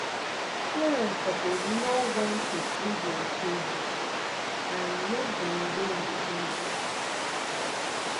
parents suppose know wen tu free deir children um make dem dey independent